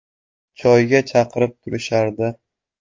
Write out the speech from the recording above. Choyga chaqirib turishardi.